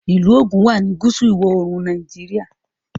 ilú Ogun wá ní gúúsù ìwọ̀-oòrùn Nàìjíríà